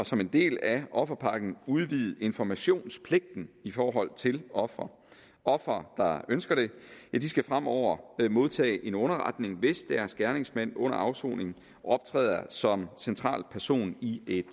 som en del af offerpakken udvide informationspligten i forhold til ofre ofre der ønsker det skal fremover modtage en underretning hvis deres gerningsmand under afsoning optræder som central person i et